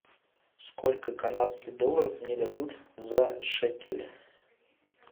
сколько канадских долларов мне дадут за шекели